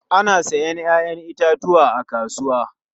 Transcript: Ana sayen 'ya'yan itatuwa a kasuwa.